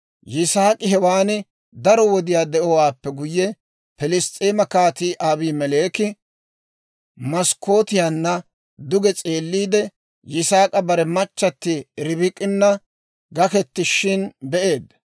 Yisaak'i hewaan daro wodiyaa de'owaappe guyye, Pilss's'eema Kaatii Abimeleeki maskkootiyaanna duge s'eeliide, Yisaak'i bare machchatti Ribik'ina gaketishin be'eedda.